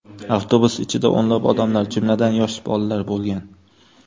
Avtobus ichida o‘nlab odamlar, jumladan, yosh bolalar bo‘lgan.